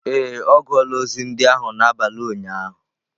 Ee, ọ gụọla ozi ndị ahụ n'abalị ụnyaahụ.